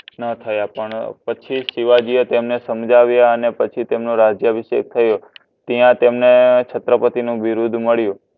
ના થાય પછી શિવજી એ તેમને સમજાવ્યા પછી તમનો રાજ્ય અભિશકે થયો ત્યાં તમને છત્રપતિ નું વિરુદ્ધ મડિયું